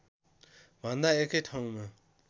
भन्दा एकै ठाउँमा